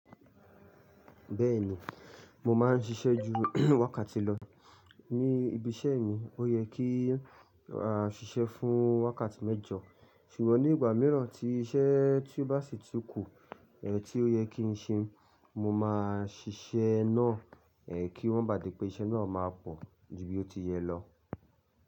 Bẹ́ẹ̀ni, mo máa ń ṣiṣẹ́ ju wákàtí lọ ní ibiṣẹ́ mi. Ó yẹ kí à á ṣiṣẹ́ fún wákàtí mẹ́jọ ṣùgbọ́n ní ìgbà mìíràn tí iṣẹ́ tí ó bá sì tún kù, eh tí ó yẹ kí n ṣe, mo máa ṣiṣẹ́ naá ẹ kí wọ́n bà dé pé iṣẹ́ náà máa pọ̀ di bí ó ti yẹ lọ.